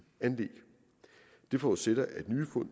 anlæg det forudsætter at nye fund